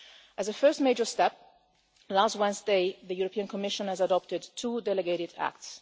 As a first major step, last Wednesday, the European Commission adopted two delegated acts.